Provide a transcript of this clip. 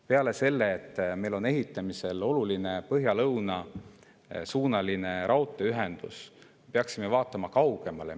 Peale selle, et meil on ehitamisel oluline põhja-lõunasuunaline raudteeühendus, peaksime vaatama kaugemale.